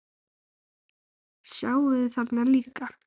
Sjáið þið þarna líka?